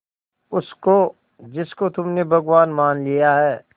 उसको जिसको तुमने भगवान मान लिया है